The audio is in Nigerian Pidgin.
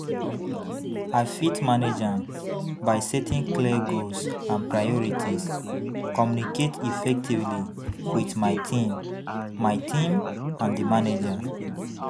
I fit manage am by setting clear goals and priorities, communicate effectively with my team my team and di manager.